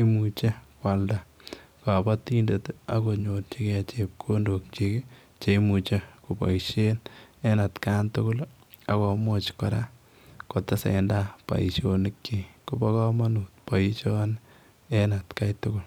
imuuchei koyalda kabatindet ak konyoorjigei chepkondook kyiik cheimuiche kobaisheen en kaan tugul ii akomuuch kora kotesetai boisionik kyiik kobaa kamanuut boisioni en at gai tugul.